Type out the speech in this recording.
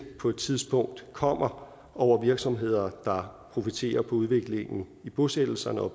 på et tidspunkt kommer over virksomheder der profiterer på udviklingen i bosættelserne og